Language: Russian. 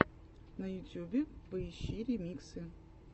на ютьюбе поищи ремиксы